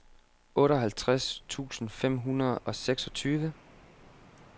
otteoghalvtreds tusind fem hundrede og seksogtyve